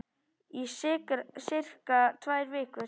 Í sirka tvær vikur.